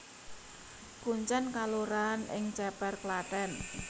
Kuncèn kelurahan ing Cèpèr Klathèn